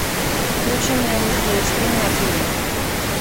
включи мне русский экстрим на тв